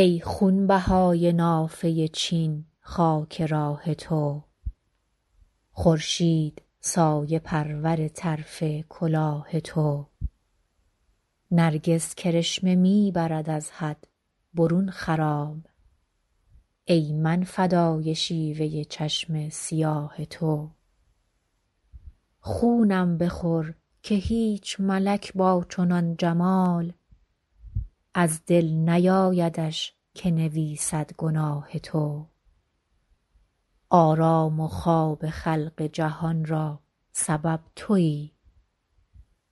ای خونبهای نافه چین خاک راه تو خورشید سایه پرور طرف کلاه تو نرگس کرشمه می برد از حد برون خرام ای من فدای شیوه چشم سیاه تو خونم بخور که هیچ ملک با چنان جمال از دل نیایدش که نویسد گناه تو آرام و خواب خلق جهان را سبب تویی